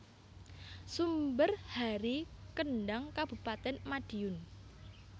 Sumber Hari Kendhang Kabupatèn Madiun